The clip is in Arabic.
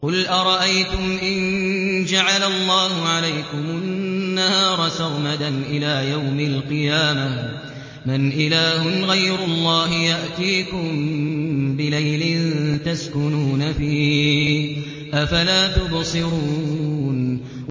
قُلْ أَرَأَيْتُمْ إِن جَعَلَ اللَّهُ عَلَيْكُمُ النَّهَارَ سَرْمَدًا إِلَىٰ يَوْمِ الْقِيَامَةِ مَنْ إِلَٰهٌ غَيْرُ اللَّهِ يَأْتِيكُم بِلَيْلٍ تَسْكُنُونَ فِيهِ ۖ أَفَلَا تُبْصِرُونَ